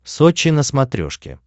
сочи на смотрешке